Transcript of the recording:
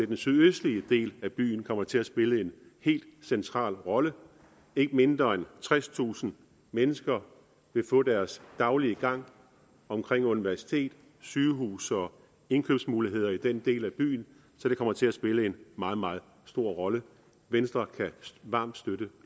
den sydøstlige del af byen kommer det til at spille en helt central rolle ikke mindre end tredstusind mennesker vil få deres daglige gang omkring universitetet sygehuset og indkøbsmulighederne i den del af byen så det kommer til at spille en meget meget stor rolle venstre kan varmt støtte